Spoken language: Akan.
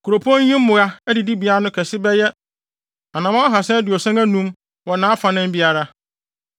Kuropɔn yi mmoa adidibea no kɛse bɛyɛ anammɔn ahaasa aduɔson anum (375) wɔ nʼafanan biara.